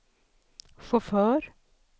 chaufför